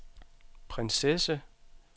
prinsesse